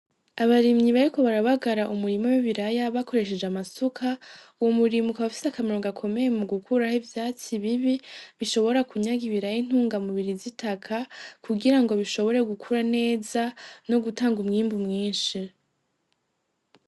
Abarimyi bariko barabagara umurima w'ibiraya bakoresheje amasuka. Uwo murimo ukaba ufise akamaro gakomeye mu gukuraho ivyatsi bibi bishobora kunyaga ibiraya intungamubiri z'itaka kugira ngo bishobore gukura neza no gutanga umwimbu mwinshi.